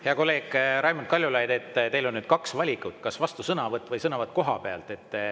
Hea kolleeg Raimond Kaljulaid, teil on nüüd kaks valikut: kas vastusõnavõtt või sõnavõtt kohapealt.